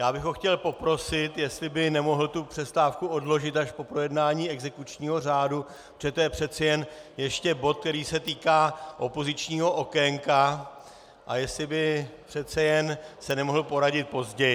Já bych ho chtěl poprosit, jestli by nemohl tu přestávku odložit až po projednání exekučního řádu, protože to je přece jen ještě bod, který se týká opozičního okénka, a jestli by přece jen se nemohl poradit později.